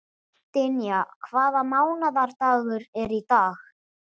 Dynja, hvaða mánaðardagur er í dag?